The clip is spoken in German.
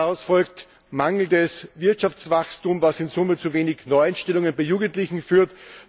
Daraus folgt mangelndes Wirtschaftswachstum, was in Summe zu weniger Neueinstellungen bei Jugendlichen führt.